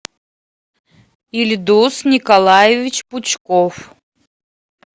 ильдуз николаевич пучков